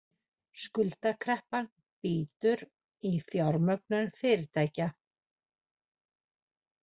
Skuldakreppan bítur í fjármögnun fyrirtækja